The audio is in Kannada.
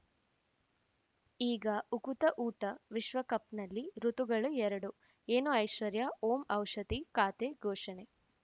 ಈಗ ಉಕುತ ಊಟ ವಿಶ್ವಕಪ್‌ನಲ್ಲಿ ಋತುಗಳು ಎರಡು ಏನು ಐಶ್ವರ್ಯಾ ಓಂ ಔಷಧಿ ಖಾತೆ ಘೋಷಣೆ